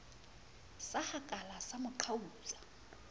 sa hakala sa mo qhautsa